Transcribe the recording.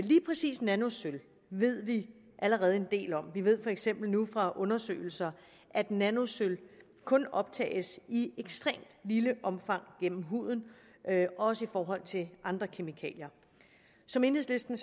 lige præcis nanosølv ved vi allerede en del om vi ved for eksempel nu fra undersøgelser at nanosølv kun optages i ekstremt lille omfang gennem huden også i forhold til andre kemikalier som enhedslisten